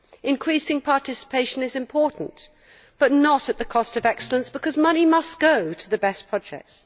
Increasing participation is important, but not at the cost of excellence, because money must go to the best projects.